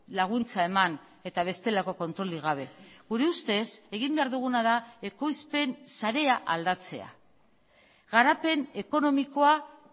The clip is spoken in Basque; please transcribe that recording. laguntza eman eta bestelako kontrolik gabe gure ustez egin behar duguna da ekoizpen sarea aldatzea garapen ekonomikoa